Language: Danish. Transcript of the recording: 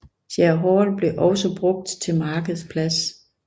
Shire Hall blev også brugt til markedsplads